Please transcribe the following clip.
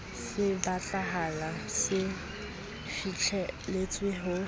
se batlahala se fihlelletswe ho